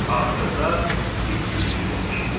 Axırda it hürüşü də eşidildi.